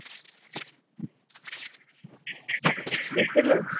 দেখছো তো?